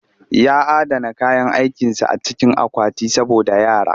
Ya adana kayan aikinsa a cikin akwati saboda yara